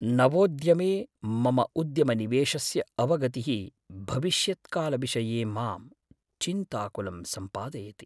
नवोद्यमे मम उद्यमनिवेशस्य अवगतिः भविष्यत्कालविषये मां चिन्ताकुलं सम्पादयति।